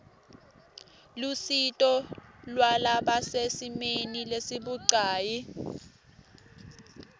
lusito lwalabasesimeni lesibucayi